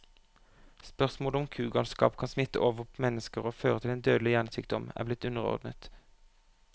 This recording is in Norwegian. Spørsmålet om kugalskap kan smitte over på mennesker og føre til en dødelig hjernesykdom, er blitt underordnet.